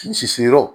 Sisi yɔrɔ